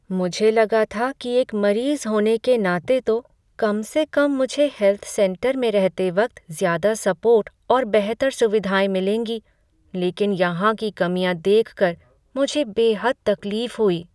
मुझे लगा था कि एक मरीज़ होने के नाते तो कम से कम मुझे हेल्थ सेंटर में रहते वक्त ज़्यादा सपोर्ट और बेहतर सुविधाएँ मिलेंगी, लेकिन यहाँ की कमियाँ देखकर मुझे बेहद तकलीफ हुई।